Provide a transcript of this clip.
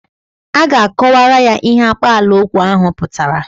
A ga-akọwara ya ihe akpaalaokwu ahụ pụtara.